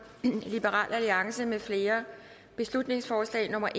mfl beslutningsforslag nummer